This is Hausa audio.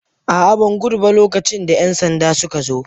A'a, ban gudu ba lokacin da 'yan sanda suka zo.